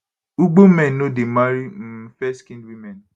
ugbo men no dey marry um fairskinned women